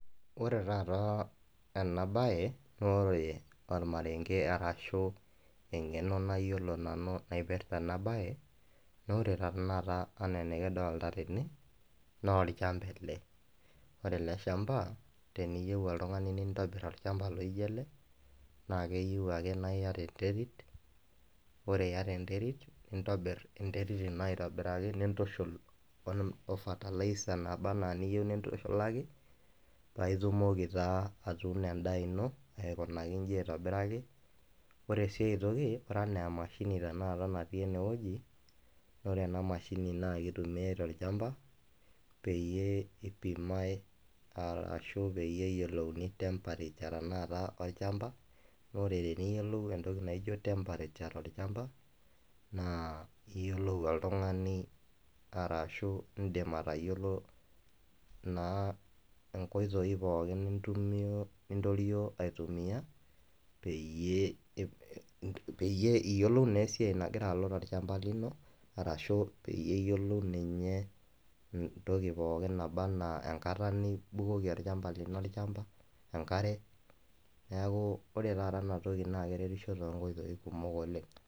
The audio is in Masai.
Ore taata ena bae ore olmareng'e ashu eng'eno nayiolo nanu naipirita ena baye, naa ore tenakata anaa enkidolita tene, naa olchamba ele, ore ele lchamba teniyou oltung'ani niitobor olchamba loijo ele naa eke yiou ake niata enterit. Ore iata enterit, nintobir enterit ino aitobiraki nintushul o [fertilizer nabaa ana eniyou nintushulaki, paa itumoki taa atuuno endaa ino eikunaki inji aitobiraki, ore sii enkai toki, ore anaa emashini tenakata natii ene wueji naa ore ena mashinini naa keitumiai tolchamba peyie eipimai ashu peyie eyolouni temperature tanaakata olchamba, ore teniyou niyiolou emtoki naijo temperature tolchamba naa iyiolou oltung'ani arashu indim atayiolou naa inkoitoi pooki niitorio aitumia peyie iyiolou naa esiai nagira alo dukuya tolchamba lino ashu peyie iyiolou ninye entoki pooki nabaa ana enkata nibukoki olchamba lino olchamba enkare neaku ore taata ena toki naa ekeretisho too inkoitoi kumok oleng'.